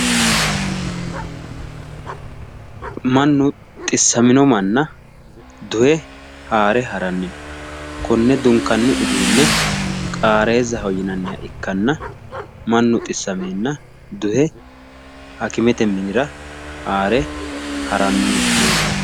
Mannu xissamino manna duhe haare haranni no. Konnne ha'nanni uduunne qaareezaho yinanniha ikkanna mannu xissameenna duhe hakimete minira duhe haare haranni leellanno.